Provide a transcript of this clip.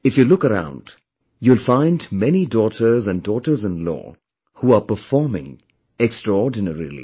If you look around, you'll find many daughters and daughtersinlaw who are performing extraordinarily